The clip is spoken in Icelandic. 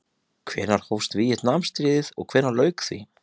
Hvenær hófst Víetnamstríðið og hvenær lauk því?